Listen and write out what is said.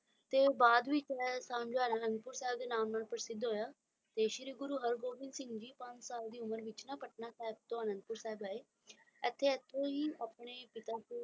ਤੇ ਬਾਅਦ ਵਿਚ ਰਹਿਣ ਸਾਂਝਾਂ ਅਨੰਦਪੁਰ ਸਾਹਿਬ ਦੇ ਨਾਮ ਨਾਲ ਪ੍ਰਸਿੱਧ ਹੋਇਆ ਤਯ ਸ੍ਰੀ ਗੁਰੂ ਹਰਿਗੋਬਿੰਦ ਸਿੰਘ ਦੀ ਪੰਜ ਸਾਲ ਦੀ ਉਮਰ ਵਿੱਚ ਪਟਨਾ ਸਾਹਿਬ ਤੋਂ ਅਨੰਦਪੁਰ ਸਾਹਿਬ ਅਤ ਤਯ ਏਥੋਂ ਹੀ